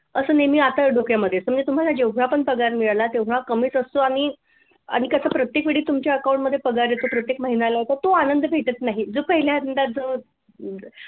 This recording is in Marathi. असं नेहमी येतं जात डोक्यामध्ये समजा तुम्हाला जेवढा पण पगार मिळाला तेवढा कमीच असतो आणि कस प्रत्येक वेळी तुमच्या account मध्ये पगार येतो प्रत्येक महिन्याला येतो तो आनंद भेटत नाही जो पहिल्या आनंदा सह